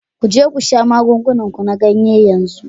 Ku je ku sha magungunan ku na ganye yanzu